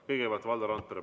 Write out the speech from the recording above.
Kõigepealt Valdo Randpere.